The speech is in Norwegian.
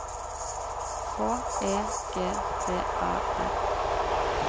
H E G D A L